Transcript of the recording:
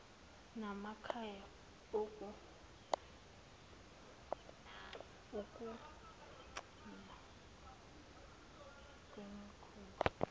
namakhaya ukuncipha kwemikhuba